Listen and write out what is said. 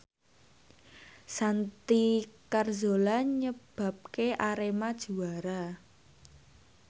Santi Carzola nyebabke Arema juara